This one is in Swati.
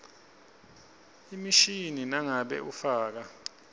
emishini nangabe ufaka